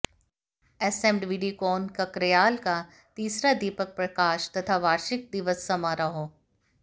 एसएमवीडीकॉन ककरयाल का तीसरा दीपक प्रकाश तथा वार्शिक दिवस समारोह